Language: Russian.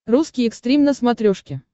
русский экстрим на смотрешке